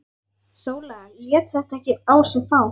Sóla lét þetta ekki á sig fá.